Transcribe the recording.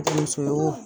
Denmuso ye wo